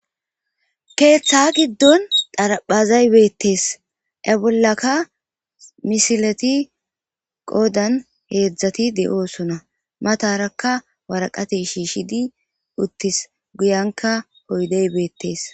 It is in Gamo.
keeththa giddon dharaphezay beettees aa bollaka misileti qoodan heedzdzati de'oosona matarakka waraqati shiishidi uttis guyanka oydey beettees